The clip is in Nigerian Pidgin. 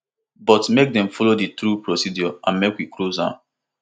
but make dem follow di true procedure and make we close am